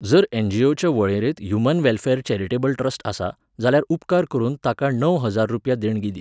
जर एनजीओच्या वळेरेंत ह्यूमन वॅलफॅर चॅरिटेबल ट्रस्ट आसा, जाल्यार उपकार करून ताका णव हजार रुपया देणगी दी.